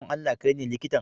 Don Allah, kai ne likitan?